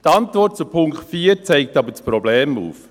Die Antwort zu Punkt 4 zeigt aber das Problem auf: